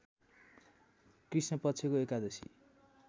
कृष्णपक्षको एकादशी